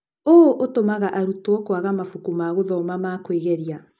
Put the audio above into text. ũũ ũtũmaga arutwo kũaga mabuku ma gũthoma ma kwĩgeria.